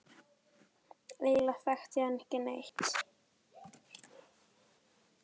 Eiginlega þekkti ég hann ekki neitt.